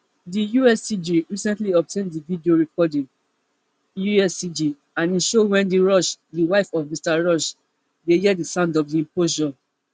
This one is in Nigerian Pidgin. di uscg recently obtain di video recording uscg and e show wendy rush di wife of mr rush dey hear di sound of di implosion